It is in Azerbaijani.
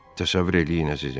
Təsəvvür eləyin əzizim.